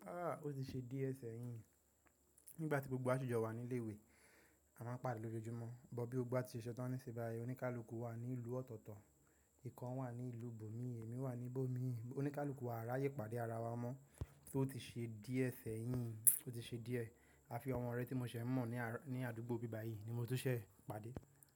Ó ti ṣe díẹ̀ sẹ́yìn. Nígbà tí gbogbo wà si ju wa ní ilé ìwé, a máa ń pàdé lójoojúmọ́. Bọ̀, bí ó gbá ti ṣẹṣẹ tán ní ibi báyìí, oníkálukú wà ní ìlú ọ̀tọ̀ọ̀tọ̀, ìkan wà ní ìlú Bòmí, èmi wà ní Bòmí. Oníkálukú wa aráyé pàdé ara wa mọ́, tó ti ṣe díẹ̀ sẹ́yìn, ó ti ṣe díẹ̀. A fi ọmọ rẹ tí mo ṣẹ̀ mọ̀ ní àdúgbò bí báyìí ni mo tó ṣẹ̀ pàdé.